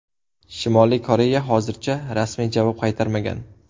Shimoliy Koreya hozircha rasmiy javob qaytarmagan.